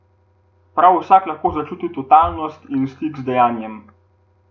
Prav vsak lahko začuti totalnost in stik z dejanjem.